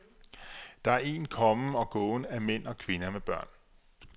Der er en kommen og gåen af mænd og kvinder med børn.